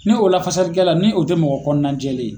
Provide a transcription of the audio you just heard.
Ni o lafasalikɛla ni o tɛ mɔgɔ kɔnɔnajɛlen ye.